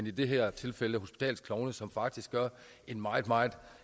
i det her tilfælde hospitalsklovne som faktisk gør en meget meget